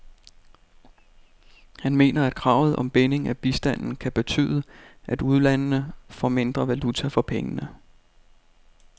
Han mener, at kravet om binding af bistanden kan betyde, at ulandene får mindre valuta for pengene.